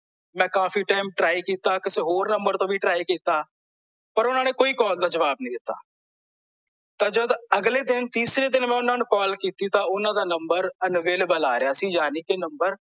ਮੈਂ ਕਾਫੀ time try ਕੀਤਾ ਕਿਸੇ ਹੋਰ ਨੰਬਰ ਤੋਂ ਵੀ try ਕੀਤਾ ਪਰ ਓਹਨਾਂ ਨੇ ਕੋਈ ਕਾਲ ਦਾ ਜਵਾਬ ਨਹੀਂ ਦਿੱਤਾ ਤਾਂ ਜਦ ਅਗਲੇ ਦਿਨ ਮੈਂ ਤੀਸਰੇ ਦਿਨ ਓਹਨਾਂ ਨੂੰ ਕਾਲ ਕੀਤੀ ਤਾਂ ਓਹਨਾਂ ਦਾ ਨੰਬਰ unavailable ਆ ਰਿਹਾ ਸੀ ਯਾਨੀ ਕੀ ਨੰਬਰ